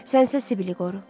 Sənsə Sibili qoru.